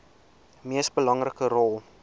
mees belangrike rol